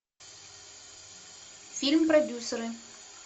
фильм продюсеры